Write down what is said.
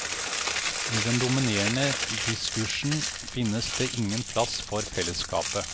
I den dominerende diskursen finnes det ingen plass for fellesskapet.